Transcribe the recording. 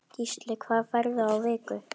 Gísli: Hvað færðu á viku?